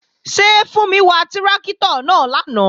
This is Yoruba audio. Ṣé Fúnmi wà tráktọ̀ náà lánàá?